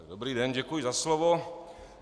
Dobrý den, děkuji za slovo.